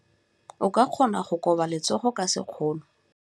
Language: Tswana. O ka kgona go koba letsogo ka sekgono.